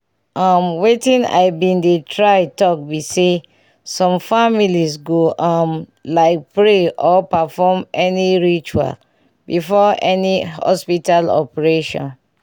um wetin i been dey try talk be say some familes go um like pray or perform any ritual before any hospital operation